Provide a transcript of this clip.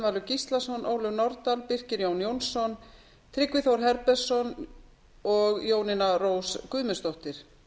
gíslason ólöf nordal birkir jón jónsson tryggvi þór herbertsson og jónína rós guðmundsdóttir